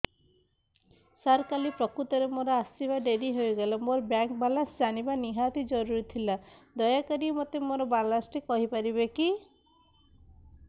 ସାର କାଲି ପ୍ରକୃତରେ ମୋର ଆସିବା ଡେରି ହେଇଗଲା ମୋର ବ୍ୟାଙ୍କ ବାଲାନ୍ସ ଜାଣିବା ନିହାତି ଜରୁରୀ ଥିଲା ଦୟାକରି ମୋତେ ମୋର ବାଲାନ୍ସ ଟି କହିପାରିବେକି